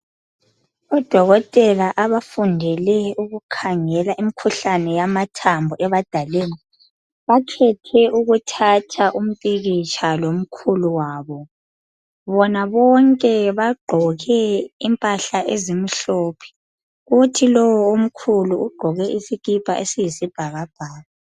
Odokotela abafundele ukukhangela imkhuhlane yamathambo ebadaleni, bakhethe ukuthatha umpikitsha lomkhulu wabo. Bona bonke bagqoke impahla ezimhlophe. Kuthi lowo omkhulu ugqoke isikipa eziyisibhakabhaka.